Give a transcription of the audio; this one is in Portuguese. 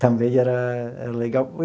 Também era era legal.